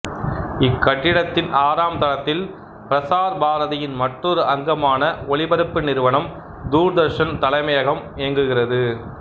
இக்கட்டிடத்தின் ஆறாம் தளத்தில் பிரசார் பாரதியின் மற்றொரு அங்கமான ஒளிபரப்பு நிறுவனம் தூர்தர்சன் தலைமையகம் இயங்குகிறது